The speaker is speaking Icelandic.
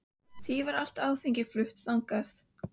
Því var allt áfengi flutt þannig.